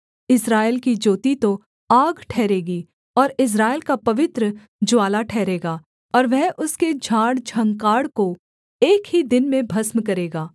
इस्राएल की ज्योति तो आग ठहरेगी और इस्राएल का पवित्र ज्वाला ठहरेगा और वह उसके झाड़ झँखाड़ को एक ही दिन में भस्म करेगा